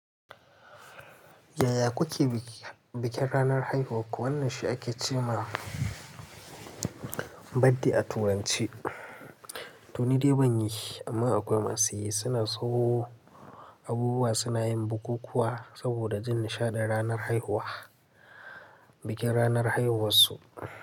Yaya ku ke bikin ranar haihuwarku? Wannan shi ake ce ma birthday a Turanci. To ni dai ban yi amma akwai masu yi. Su na siyo abubuwa, su na yin bukukkuwa saboda jin nishaɗi ranar haihuwa, bikin ranar haihuwarsu.